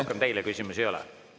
Rohkem teile küsimusi ei ole.